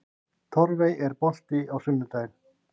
Torfey, er bolti á sunnudaginn?